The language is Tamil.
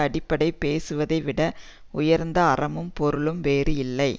அப்படி பேசுவதை விட உயர்ந்த அறமும் பொருளும் வேறு இல்லை